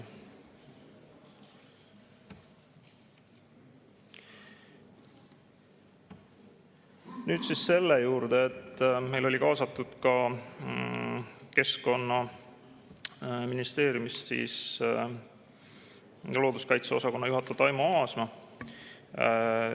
Nüüd selle juurde, et meil oli kaasatud Keskkonnaministeeriumist looduskaitseosakonna juhataja Taimo Aasma.